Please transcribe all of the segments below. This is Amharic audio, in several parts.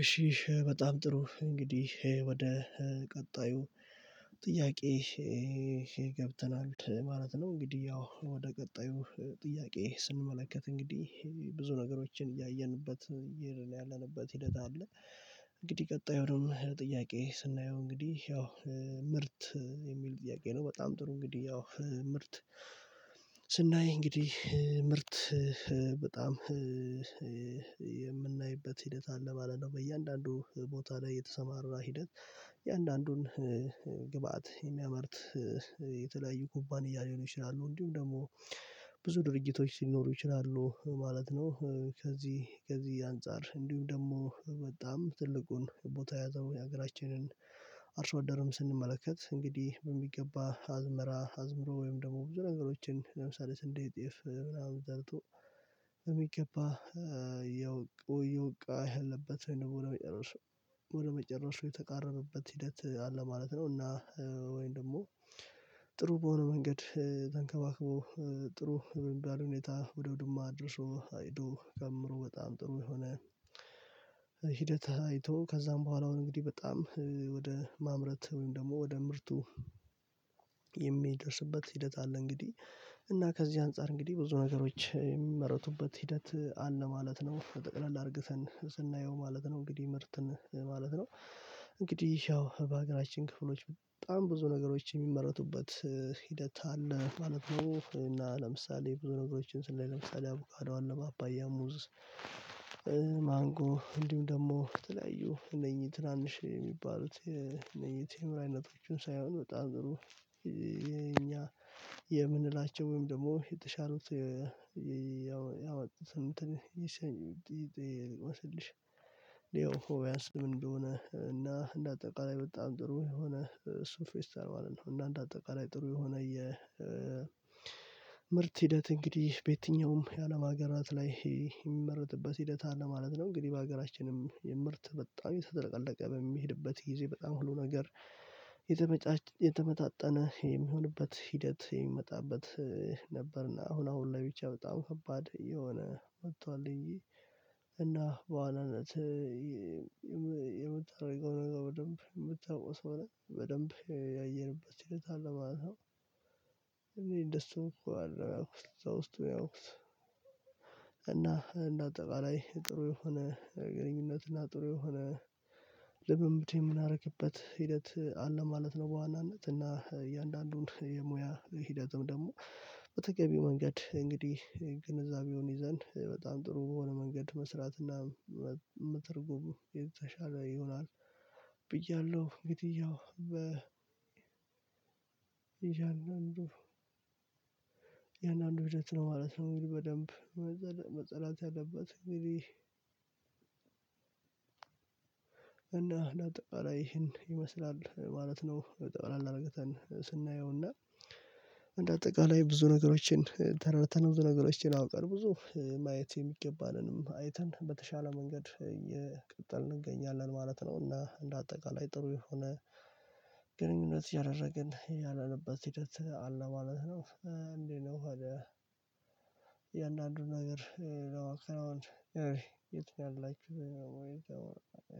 እሺ በጣም ጥሩ እንግዲህ ይሄ ወደ ቀጣዩ ጥያቄ ገብተናል ማለት ነው። እንግዲህ ያው ወደ ቀጣዩ ጥያቄ ስንመለከት እንግዲህ ብዙ ነገሮችን እያየንበት ያለንበት ሂደት አለ። እንግዲህ የሆነውን ጥያቄ ስናየው እንግዲህ ያው ምርት የሚል ጥያቄ ነው። በጣም ጥሩ እንግዲህ ያው ምርት ስናይ እንግዲህ ምርት በጣም የምናይበት ሂደት አለ ማለት ነው። በእያንዳንዱ ቦታ ላይ የተሰማራ ሂደት የአንዳንዱን ግብአት የሚያመርት ኩባንያ ሊሆን ይችላሉ እንዲሁም ደግሞ ብዙ ድርጅቶች ሲኖሩ ይችላሉ ማለት ነው። ከዚህ ከዚህ አንፃር እንዲሁም ደግሞ በጣም ትልቁን ቦታ ያዘው የሀገራችንን ደርም ስንመለከት እንግዲህ በሚገባ አዝመራ አዝምሮ ወይም ደግሞ ብዙ ነገሮችን ለምሳሌ ስንዴ ጤፍ ብላ አውጥቶ ያው እየወውቃ ያለበት ነው የሚለው መጨረሻው ወደ መጨረሻው የተቃረበበት ሂደት አለ ማለት ነው። እና ወይንም ደግሞ ጥሩ በሆነ መንገድ ተንከባክቦ ጥሩ የሚባል ሁኔታ ወደ አውድማ አድርሶ አጭዶ ከምሮ በጣም ጥሩ የሆነ ሂደት አይቶ ከዛም በኋላ አሁን እንግዲህ በጣም ወደ ማምረት ወይም ደግሞ ወደ ምርቱ የሚደርስበት ሂደት አለ። እንግዲህ እና ከዚህ አንፃር እንግዲህ ብዙ ነገሮች የሚመረቱበት ሂደት አለ ማለት ነው። ጠቅላላ አርገተን ስናየው ማለት ነው እንግዲህ ምርትን ማለት ነው። እንግዲህ ያው በሀገራችን ክፍሎች በጣም ብዙ ነገሮች የሚመረቱበት ሂደት አለ ማለት ነው። እና ለምሳሌ ብዙ ነገሮችን ስለ ለምሳሌ አቡካዶ አለ ፓፓያ ሙዝ ማንጎ እንዲሁም ደግሞ የተለያዩ እነዚህ ትናንሽ የሚባሉት የቴምር አይነቶችን ሳይሆን ወጣ አድሮ የኛ የምንላቸው ወይም ደግሞ የተሻለቱ ያወጣሁት እንትን ይሰንጥልሽ ይወስድልሽ ያው ቢያንስ ምን እንደሆነ እና እንደ አጠቃላይ በጣም ጥሩ የሆነ እሱ ፌስታል ማለት ነው። አንዳንድ አጠቃላይ ጥሩ የሆነ የ ምርት ሂደት እንግዲህ በየትኛውም የአለም አገራት ላይ የምመረትበት ሂደት አለ ማለት ነው። እንግዲህ በሀገራችንም የምርት በጣም የተጥለቀለቀ በሚሄድበት ጊዜ በጣም ሁሉ ነገር የተመጣጠነ የሚሆንበት ሂደት የሚመጣበት ነበርና አሁን አሁን ላይ ብቻ በጣም ከባድ እየሆነ መጥቷል። እንጂ እና በኋላነት የምታደርገው ነገር በደንብ የምታውቀው ሰው ነው በደንብ ያየንበት ሂደት አለ ማለት ነው። እኔ ደስ እኮ አይደለም ያውቁት ደስ ያውቁት እና እንደ አጠቃላይ ጥሩ የሆነ ግንኙነት እና ጥሩ የሆነ ልምምድ የምናደርግበት ሂደት አለ ማለት ነው። በዋናነት እና እያንዳንዱን የሙያ ሂደትም ደግሞ በተገቢው መንገድ እንግዲህ ግንዛቤውን ይዘን በጣም ጥሩ በሆነ መንገድ መስራትና መተርጎም የተሻለ ይሆናል። ብያለሁ እንግዲያው በ ያንድ አንዱ ያን አንዱ ሂደት ነው ማለት ነው። እንግዲህ በደንብ መጽዳት ያለበት እና እንደ አጠቃላይ ይሄን ይመስላል ማለት ነው። ጠቅለል አርገተን ስናየውና እንደ አጠቃላይ ብዙ ነገሮችን ተረድተን ብዙ ነገሮችን አውቀን ብዙ ማየት የሚገባንንም አይተን በተሻለ መንገድ እየቀጠልን እንገኛለን ማለት ነው። እና እንደ አጠቃላይ ጥሩ የሆነ ግንኙነት እያደረግን ያለንበት ሂደት አለ ማለት ነው። እንዴት ነው ታዲያ? የእያንዳንዱን ነገር ለማከናወን የት ያላችሁ ደግሞ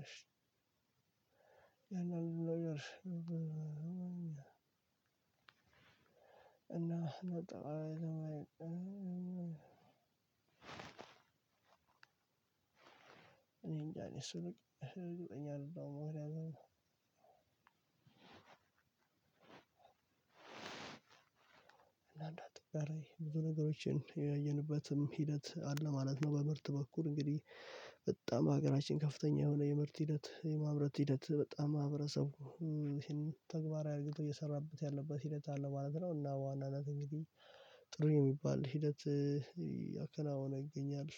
እሺ ያንዳንዱ ነገር እና እኔንጃ እሱ ነኝ እርግጠኛ አይደለም። መሆን ያዘነው አንዳንድ ጥቃሬ ብዙ ነገሮችን ያየንበትም ሂደት አለ ማለት ነው። በምርት በኩል እንግዲህ በጣም በሀገራችን ከፍተኛ የሆነ የምርት ሂደት የማምረት ሂደት በጣም ማህበረሰቡ ይሄንን ተግባራዊ አርግቶ እየሰራበት ያለበት ሂደት አለ ማለት ነው። እና በዋናነት እንግዲህ ጥሩ የሚባል ሂደት ያከናወነ ይገኛል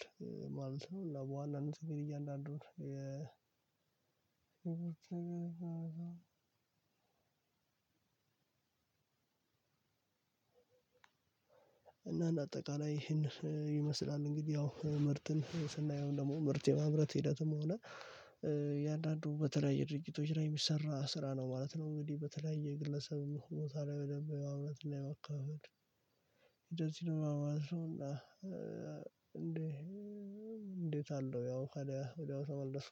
ማለት ነው። እና በዋናነት እንግዲህ እያንዳንዱን እያለ አይደለም እና እንደ አጠቃላይ ይሄን ይመስላል እንግዲህ ያው ምርትን ስናየው ደግሞ ምርት የማምረት ሂደትም ሆነ የአንዳንዱ በተለያየ ድርጅቶች ላይ የሚሰራ ስራ ነው ማለት ነው። እንግዲህ በተለያየ ግለሰብ መኮንኖታል በደንብ የማምረትና የማከፋፈል እንደዚህ ነው። የማውራት እና እንዴ እንዴት አለው? ያው ካዲያ ወዲያው ተመለስኩ